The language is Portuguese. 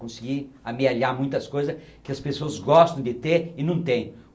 Conseguir a me aliar a muitas coisas que as pessoas gostam de ter e não têm.